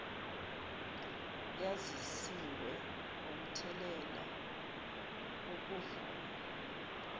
yazisiwe ngomthelela wokuvuma